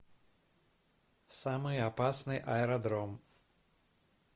самый опасный аэродром